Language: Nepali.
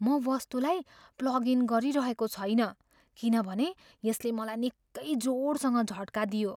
म वस्तुलाई प्लग इन गरिरहेको छैन किनभने यसले मलाई निक्कै जोडसँग झट्का दियो।